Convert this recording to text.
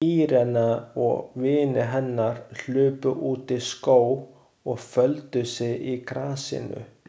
Irene og vinir hennar hlupu út í skóg og földu sig í grasinu.